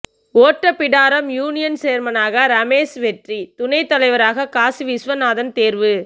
Ottapidaram union சேர்மனாக ரமேஷ் வெற்றி துணைத்தலைவராக காசி விஸ்வநாதன் தேர்வு